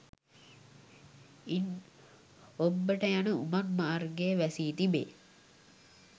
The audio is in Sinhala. ඉන් ඔබ්බට යන උමං මාර්ගය වැසී තිබේ